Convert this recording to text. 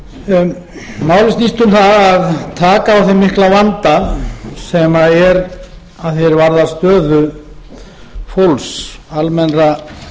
málið snýst um að taka á þeim mikla vanda sem er að því er varðar stöðu fólks almennra